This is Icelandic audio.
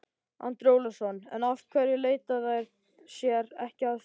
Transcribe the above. Andri Ólafsson: En af hverju leita þær sér ekki aðstoðar?